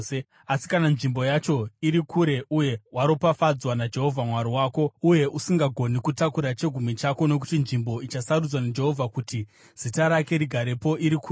Asi kana nzvimbo yacho iri kure uye waropafadzwa naJehovha Mwari wako, uye usingagoni kutakura chegumi chako (nokuti nzvimbo ichasarudzwa naJehovha kuti Zita rake rigarepo iri kure),